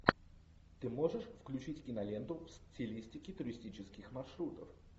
ты можешь включить киноленту в стилистике туристических маршрутов